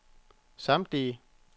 samtlige